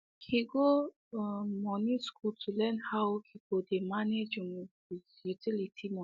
he go um moni school to learn how he go dey manage um his utility moni